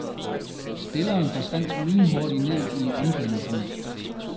Spilleren forsvandt lynhurtigt ned i omklædningsrummet.